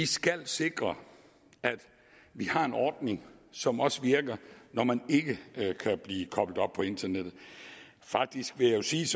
skal sikre at vi har en ordning som også virker når man ikke kan blive koblet op på internettet faktisk vil jeg sige